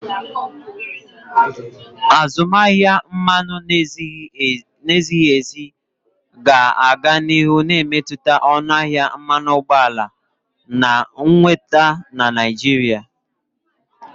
Azụmaahịa mmanụ na-ezighi ezi ga-aga n'ihu na-emetụta ọnụ ahịa mmanụ ụgbọala na nnweta na Naịjirịa.